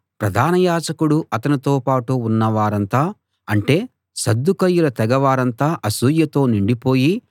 ప్రధాన యాజకుడూ అతనితో పాటు ఉన్నవారంతా అంటే సద్దూకయ్యుల తెగ వారంతా అసూయతో నిండిపోయి